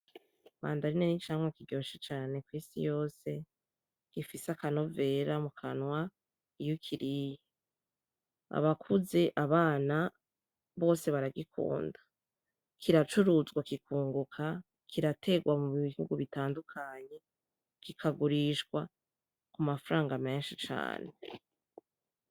Imandarine ni icamwa kiryoshe cane kw'isi yose gifise akanovera mukanwa iyo ukiriye, abakuze abana bose baragikunda kiracuruzwa kikunguka kirategwa mu bihugu bitandukanye kikagurishwa ku mafaranga menshi cane.